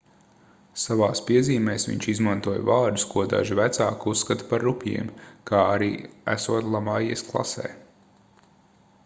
savās piezīmēs viņš izmantoja vārdus ko daži vecāki uzskata par rupjiem kā arī esot lamājies klasē